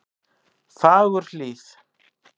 Fagurhlíð